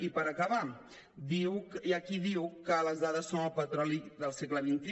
i per acabar hi ha qui diu que les dades són el petroli del segle xxi